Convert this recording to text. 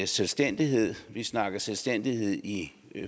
selvstændighed vi snakker selvstændighed i